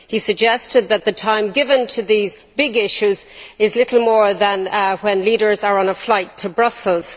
He suggested that the time given to these big issues is little more than the times when leaders are on a flight to Brussels.